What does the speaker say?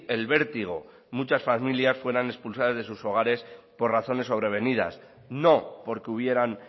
el vértigo muchas familias fueran expulsadas de sus hogares por razones sobrevenidas no porque hubieran